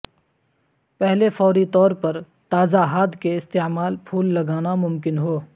پہلے فوری طور پر تازہ ھاد کے استعمال پھول لگانا ممکن ہو